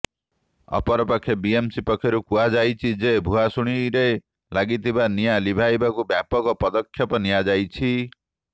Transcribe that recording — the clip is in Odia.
ଅପରପକ୍ଷେ ବିଏମ୍ସି ପକ୍ଷରୁ କୁହାଯାଇଛି ଯେ ଭୁଆସୁଣିରେ ଲାଗିଥିବା ନିଆଁ ଲିଭାଇବାକୁ ବ୍ୟାପକ ପଦକ୍ଷେପ ନିଆଯାଇଛି